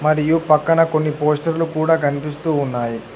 మరియు పక్కన కొన్ని పోస్టర్లు కూడా కనిపిస్తూ ఉన్నాయి.